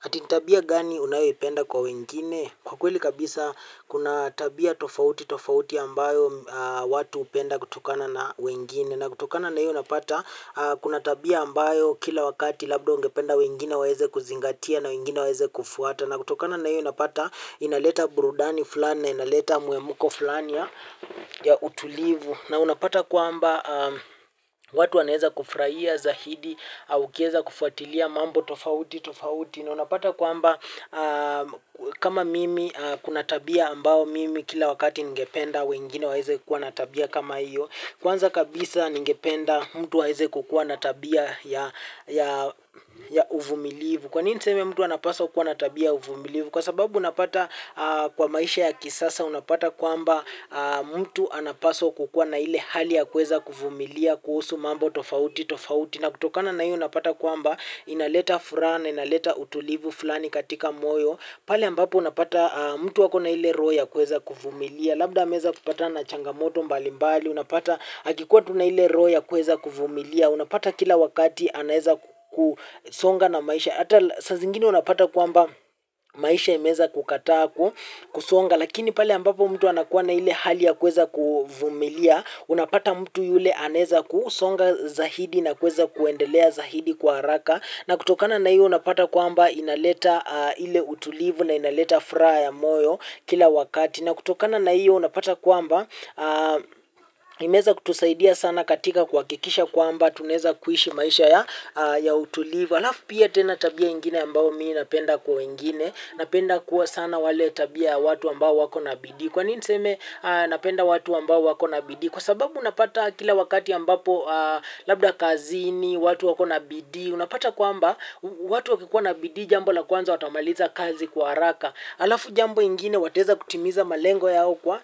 Ati ni tabia gani unayoipenda kwa wengine? Kwa kweli kabisa, kuna tabia tofauti tofauti ambayo watu hupenda kutokana na wengine. Na kutokana na hiyo unapata, kuna tabia ambayo kila wakati labda ungependa wengine waeze kuzingatia na wengine waeze kufuata. Na kutokana na hiyo unapata, inaleta burudani fulani na inaleta muhemko fulani ya utulivu. Na unapata kwamba watu wanaeza kufraia zahidi au ukieza kufuatilia mambo tofauti tofauti. Unapata kwamba kama mimi kuna tabia ambao mimi kila wakati ningependa wengine waeze kuwa na tabia kama hiyo. Kwanza kabisa ningependa mtu aeze kukua na tabia ya uvumilivu. Kwa nini niseme mtu anapaswa kukua na tabia ya uvumilivu. Kwa sababu unapata kwa maisha ya kisasa unapata kwamba mtu anapaswa kukua na ile hali ya kuweza kuvumilia kuhusu mambo tofauti tofauti. Na kutokana na hiyo unapata kwamba inaleta furaha na, inaleta utulivu fulani katika moyo. Pale ambapo unapata mtu ako na ile roho ya kuweza kuvumilia. Labda ameeza kupatana na changamoto mbalimbali. Unapata akikuwa tuna ile roho ya kuweza kuvumilia. Unapata kila wakati anaeza kusonga na maisha. Hata saa zingine unapata kwamba maisha imeeeza kukataa kusonga. Lakini pale ambapo mtu anakuwa na ile hali ya kuweza kuvumilia. Unapata mtu yule anaeza kusonga zaidi na kuweza kuendelea zahidi kwa haraka na kutokana na hiyo unapata kwamba inaleta ile utulivu na inaleta furaa ya moyo kila wakati na kutokana na iyo unapata kwamba imeeza kutusaidia sana katika kuhakikisha kwamba tunaeza kuishi maisha ya utulivu alafu pia tena tabia ingine ambao mii napenda kwa wengine napenda kuwa sana wale tabia ya watu ambao wako na bidii. Kwa nini niseme napenda watu ambao wako na bidii? Kwa sababu unapata kila wakati ambapo labda kazini, watu wako na bidii, unapata kwamba watu wakikuwa na bidii jambo la kwanza watamaliza kazi kwa haraka. Alafu jambo ingine wataeza kutimiza malengo yao kwa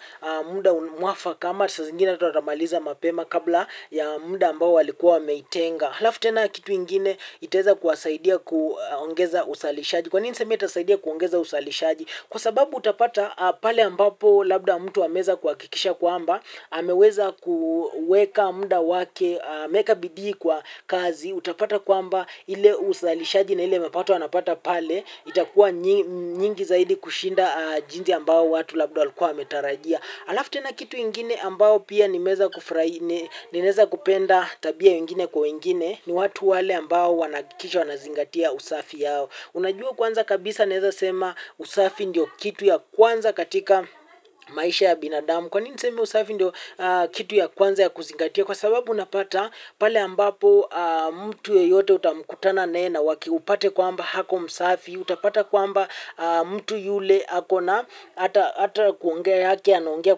muda mwafaka ama saa zingine hata watamaliza mapema kabla ya muda ambao walikuwa wameitenga. Alafu tena kitu ingine itaeza kuwasaidia kuongeza usalishaji. Kwa nini niseme itasaidia kuongeza usalishaji? Kwa sababu utapata pale ambapo labda mtu ameeza kuhakikisha kwamba, ameweza kueka muda wake, ameeka bidii kwa kazi, utapata kwamba ile uzalishaji na ile mapato anapata pale, itakuwa nyingi zaidi kushinda jinsi ambao watu labda walikuwa wametarajia. Alafu tena kitu ingine ambao pia nimeeza kupenda tabia ingine kwa wengine, ni watu wale ambao wanahakikisha wanazingatia usafi yao. Unajua kwanza kabisa naeza sema usafi ndio kitu ya kwanza katika maisha ya binadamu. Kwa nini niseme usafi ndio kitu ya kwanza ya kuzingatia? Kwa sababu unapata pale ambapo mtu yeyote utamkutana naye na wakiupate kwamba ako msafi. Utapata kwamba mtu yule ako na ata kuongea yake anaongea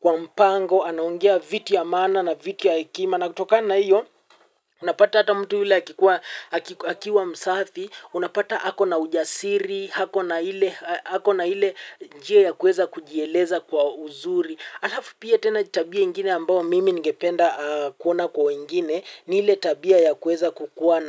kwa mpango, anaongea vitu ya maana na vitu ya hekima. Na kutokana na hiyo, unapata hata mtu yule akiwa msafi, unapata ako na ujasiri, ako na ile njia ya kuweza kujieleza kwa uzuri. Alafu pia tena tabia ingine ambao mimi ningependa kuona kwa wengine, ni ile tabia ya kuweza kukua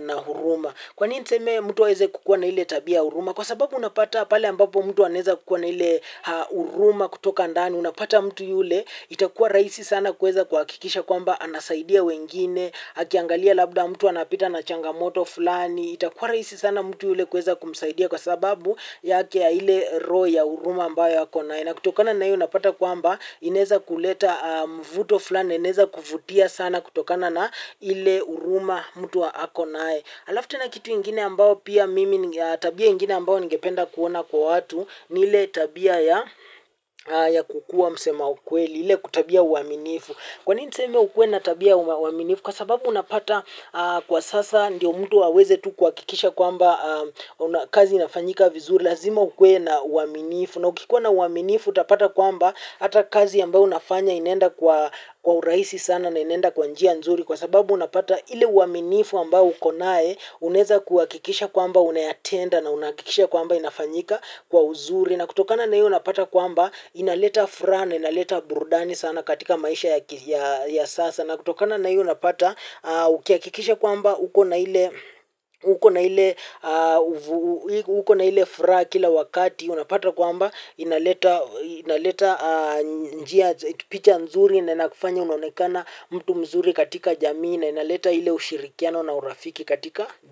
na huruma. Kwa nini niseme mtu aeze kukua na ile tabia ya huruma? Kwa sababu unapata pale ambapo mtu anaeza kukua na ile huruma kutoka ndani, unapata mtu yule, itakua raisi sana kuweza kuhakikisha. Kwamba anasaidia wengine, akiangalia labda mtu anapita na changamoto fulani, itakuwa rahisi sana mtu yule kuweza kumsaidia kwa sababu yake ya ile roho ya huruma ambao akonaye. Na kutokana na hio unapata kwamba inaeza kuleta mvuto fulani, inaeza kuvutia sana kutokana na ile uruma mtu akonaye. Alafu tena kitu ingine ambao pia mimi, tabia ingine ambao ningependa kuona kwa watu ni ile tabia ya kukua msema ukweli, ile tabia ya uaminifu. Kwa nini niseme ukuwe na tabia ya uaminifu? Kwa sababu unapata kwa sasa ndiyo mtu aweze tu kuhakikisha kwamba kazi inafanyika vizuri. Lazima ukuwe na uaminifu. Na ukikuwa na uaminifu utapata kwamba hata kazi ambayo unafanya inaenda kwa urahisi sana na inaenda kwa njia nzuri. Kwa sababu unapata ile uaminifu ambao ukonae unaeza kuhakikisha kwamba unayatenda na unahakikisha kwamba inafanyika kwa uzuri. Na kutokana na hiyo unapata kwamba inaleta furaha na inaleta burdani sana katika maisha ya sasa na kutokana na hiyo unapata ukiakikisha kwamba uko na ile furaha kila wakati unapata kwamba inaleta picha nzuri na inakufanya unonekane mtu mzuri katika jamii na inaleta ile ushirikiano na urafiki katika jamii.